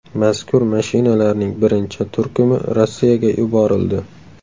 Mazkur mashinalarning birinchi turkumi Rossiyaga yuborildi.